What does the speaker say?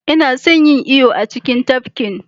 Ina son yin iyo a cikin tafkin